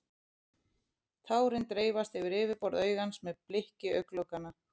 Tárin dreifast yfir yfirborð augans með blikki augnlokanna.